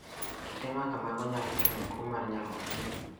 Kite ma kamago nyalo kelo tuo mar nyarogno